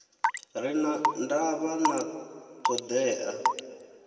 re na ndavha na thoḓea